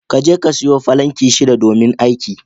Kaje ka sayo falinki shida domin aiki.